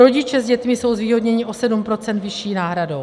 Rodiče s dětmi jsou zvýhodněni o 7 % vyšší náhradou.